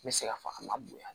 N bɛ se ka fɔ a ma bonya